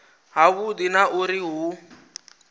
ha vhudi na uri hu